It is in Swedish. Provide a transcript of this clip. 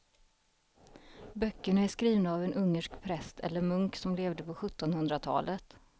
Böckerna är skrivna av en ungersk präst eller munk som levde på sjuttonhundratalet.